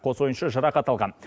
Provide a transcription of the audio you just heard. қос ойыншы жарақат алған